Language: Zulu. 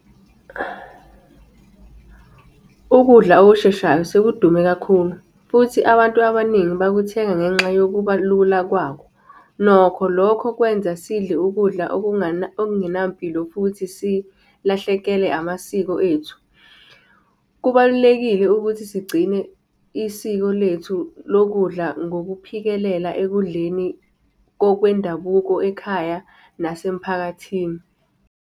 Ukudla okusheshayo sekudume kakhulu, futhi abantu abaningi bakuthenga ngenxa yokuba lula kwakho. Nokho lokho kwenza sidle ukudla okungenampilo futhi silahlekelwe amasiko ethu. Kubalulekile ukuthi sigcine isiko lethu lokudla ngokuphikelela ekudleni okwendabuko ekhaya nasemphakathini.